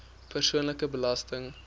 persoonlike belasting